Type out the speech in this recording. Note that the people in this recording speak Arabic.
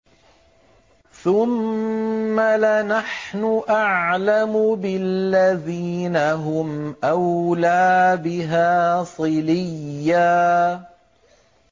ثُمَّ لَنَحْنُ أَعْلَمُ بِالَّذِينَ هُمْ أَوْلَىٰ بِهَا صِلِيًّا